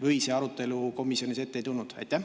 Või seda arutelu komisjonis ei olnud?